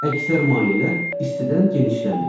Əksər mayələr istidən genişlənir.